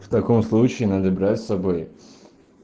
в таком случае надо брать с собой